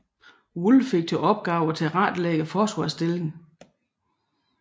Wool fik til opgave at tilrettelægge forsvarsstillingen